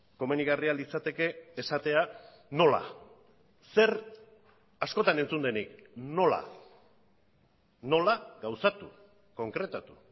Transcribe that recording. komenigarria litzateke esatea nola zer askotan entzun denik nola nola gauzatu konkretatu